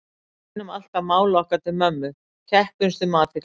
Við beinum alltaf máli okkar til mömmu, keppumst um athygli hennar